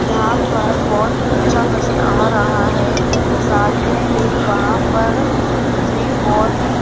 यहां पर बहोत अच्छा नजर आ रहा है साथ में ही वहां पर भी बहुत ही --